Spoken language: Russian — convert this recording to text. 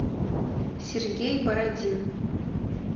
сергей бородин